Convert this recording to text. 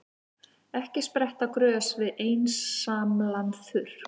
Ekki spretta grös við einsamlan þurrk.